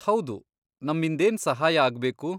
ಹೌದು, ನಮ್ಮಿಂದೇನ್ ಸಹಾಯ ಆಗ್ಬೇಕು?